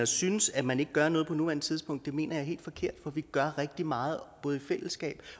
synes at man ikke gør noget på nuværende tidspunkt mener jeg er helt forkert for vi gør rigtig meget i fællesskab